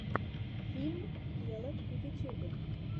фильм гелот в ютьюбе